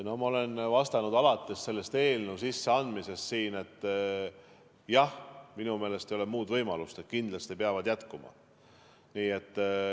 No ma olen vastanud alates selle eelnõu sisseandmisest siin, et jah, minu meelest ei ole muud võimalust, kui et kindlasti peavad jätkuma.